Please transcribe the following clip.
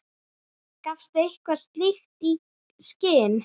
Gafstu eitthvað slíkt í skyn?